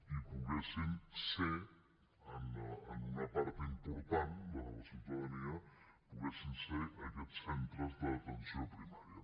i poguessin ser en una part important de la ciutadania aquests centres d’atenció primària